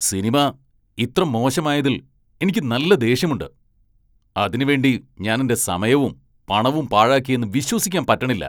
Cinema ഇത്ര മോശമായതിൽ എനിക്ക് നല്ല ദേഷ്യമുണ്ട്. അതിനു വേണ്ടി ഞാൻ എന്റെ സമയവും പണവും പാഴാക്കിയെന്ന് വിശ്വസിക്കാൻ പറ്റണില്ല.